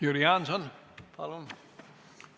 Jüri Jaanson, palun!